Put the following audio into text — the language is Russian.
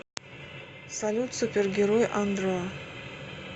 салют супергерой андро